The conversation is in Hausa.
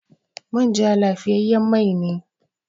Manja lafiyayyen mai ne.